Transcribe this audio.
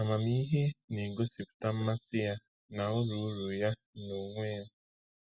Amamihe na-egosipụta mmasị ya na uru uru ya n’onwe ya.